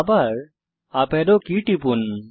আবার up arrow key টিপুন